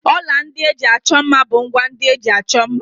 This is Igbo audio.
Ọla ndị eji achọ mma bụ ngwá ndị eji achọ mma.